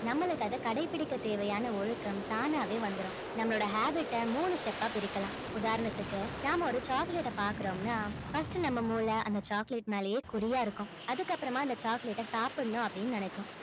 நம்மளுக்கு அதை கடைப்பிடிக்க தேவையான ஒழுக்கம் தானாவே வந்துரும் நம்மளோட habit அ மூணு step ஆ பிரிக்கலாம் உதாரணத்துக்கு நாம ஒரு chocolate அ பாக்குறோம்னா first நம்ம மூளை அந்த chocolate மேலயே குறியா இருக்கும் அதுக்கப்புறமா அந்த chocolate அ சாப்பிடணும் அப்படின்னு நினைக்கும்